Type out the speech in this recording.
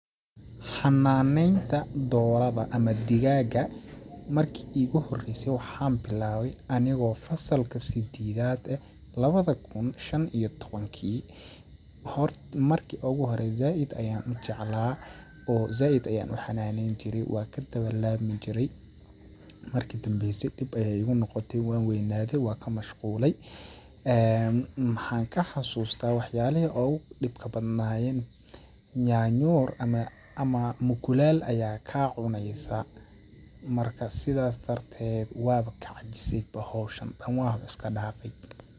Xanaan neynta doorada ama digaaga markii iigu horeyse waxaan bilaawe anigoo fasalka sededaad eh ,lawada kun shan iyo tawankii ,hort, marki ugu hore zaaid ayaan u jeclaa oo zaaid ayaan u xanaan neyn jiray waan kadawa laami jiray ,marki dambeyse dhib ayeey igu noqote waan weynaaade ,waan ka mashquulay, maxaan ka xasustaa wax yaalihi oogu dhibka badnayeen nyanyuur ama mukulaal ayaa kaa cuneysaa ,marka sidaas darteed waan bo ka cajisay bo hawshan dhan waan iska dhaafay.